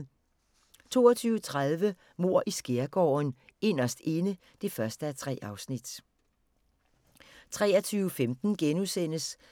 22:30: Mord i Skærgården: Inderst Inde (1:3) 23:15: